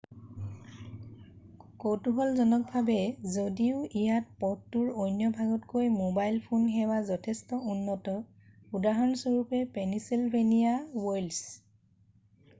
কৌতুহলজনকভাৱে যদিও ইয়াত পথটোৰ অন্য ভাগতকৈ ম'বাইল ফোন সেৱা যথেষ্ট উন্নত উদাহৰণস্বৰূপে পেনিছিলভেনিয়া ৱইল্ডছ